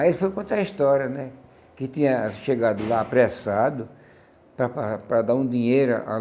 Aí ele foi contar a história, né, que tinha chegado lá apressado para para para dar um dinheiro a a